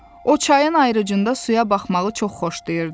O, çayın ayrıcında suya baxmağı çox xoşlayırdı.